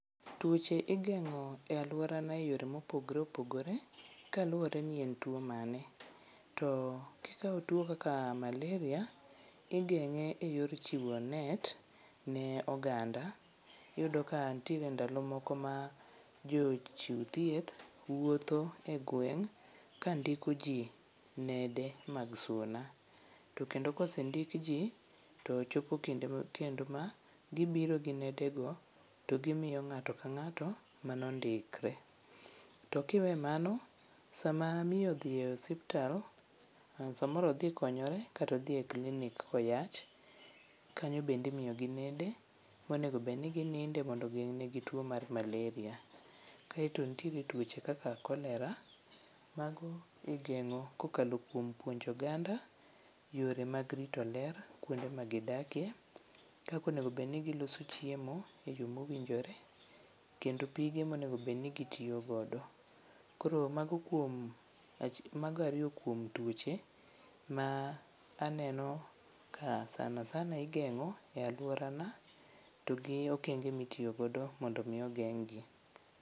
Tuoche igeng'o e aluorana eyore mopogore opogore kaluwore ni en tuo mane. To kikao tuo mar kaka malaria tigeng'e e yor chiwo net ne oganda. Iyudo ka ntiere ndalo moko ma jochiw thieth wuotho egweng' kandiko jii nede mag suna ,to kendo kosendik jii to chopo kinde kendo ma gibiro gi nede go to gimiyo ng'ato ka ng'ato mano ndikre. To kiwe mano sama miyo dhi osiptal samoro odhi konyore kato dhi e klinik koyach , kanyo bende imiyo gi nende monego bedni gininde mondo ogeng' ne gi tuo mar malaria. Kato ntie tuoche kaka cholera mago igeng'o kokalo kuom puonjo oganda yore mag rito ler, kuonde ma gidakie kaka onego bed ni giloso chiemo e yoo mowinjore kendo pige mowinjo bed ni gitiyo godo. Koro mago kuom ach mago ariyo kuom tuoche ma aneno ka sanasana igeng'o e aluorana to gi okenge ma itiyo godo mondo mi ogeng' gi.